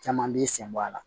Caman b'i senbɔ a la